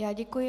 Já děkuji.